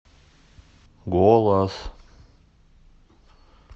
голос